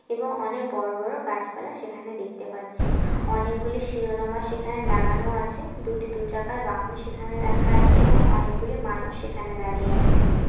এবং অনেক বড় বড় গাছপালা সেখানে দেখতে পাচ্ছি । অনেকগুলি শিরোনামা সেখানে লাগানো আছে। দুটি দু চাকার বাহন সেখানে রাখা আছে এবং অনেকগুলি মানুষ সেখানে দাঁড়িয়ে আছেন।